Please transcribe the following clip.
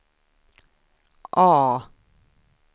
A